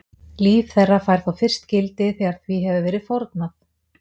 Líf þeirra fær þá fyrst gildi þegar því hefur verið fórnað.